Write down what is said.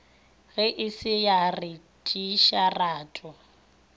ge e se ya retšisetarwa